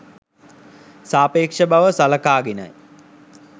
සාපේක්ෂ බව සලකාගෙනයි.